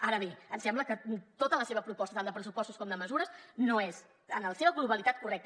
ara bé ens sembla que tota la seva proposta tant de pressupostos com de mesures no és en la seva globalitat correcta